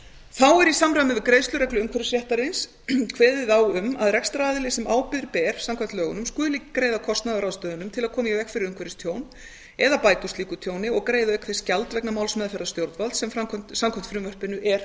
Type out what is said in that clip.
þá er í samræmi við greiðslureglu umhverfisréttarins kveðið á um að rekstraraðili sem ábyrgð ber samkvæmt lögunum skuli greiða kostnað af ráðstöfunum til að koma í veg fyrir umhverfistjón eða bæta úr slíku tjóni og greiða auk þess gjald vegna málsmeðferðar stjórnvalds sem samkvæmt frumvarpinu er umhverfisstofnun